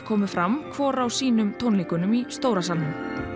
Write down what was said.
komu fram hvor á sínum tónleikunum í stóra salnum